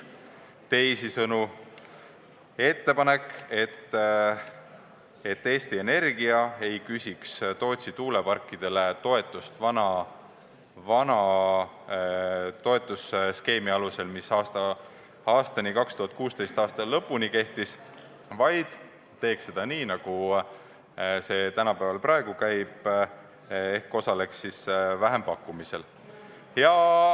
Teisisõnu on ettepanek, et Eesti Energia ei küsiks Tootsi tuuleparkidele toetust vana toetusskeemi alusel, mis kehtis 2016. aasta lõpuni, vaid teeks seda nii, nagu see praegu käib, ehk osaleks vähempakkumisel.